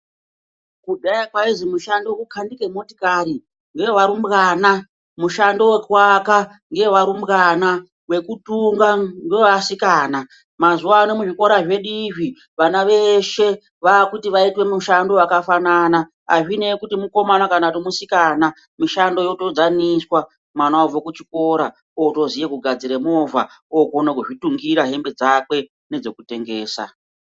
Kudhaya kwaizi mushando kukanike motikari, ngevarumbwana mushando wekuvaka ngewevarumbwana wekutunga ngewevasikana, mazuva ano muzvikora zvedu izvi vana veshe vakuti vaitwe mushando wakafanana, azvinei kuti mukomana kana musikana, mishando yotodzaniswa, mwana obve kuchikora otoziye kugadzire movha okone kuzvitungira hembe dzakwe nedzekutengesa.